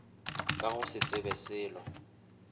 ka go se tsebe selo